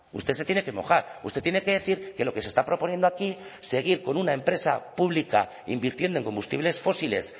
usted se tiene que mojar usted tiene que decir que lo que se está proponiendo aquí seguir con una empresa pública invirtiendo en combustibles fósiles